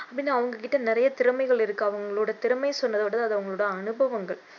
அப்படின்னு அவங்க கிட்ட நிறமைகள் இருக்கு அவங்களோட திறமைன்னு சொல்றத விட அது அவங்களோட அனுபவங்கள்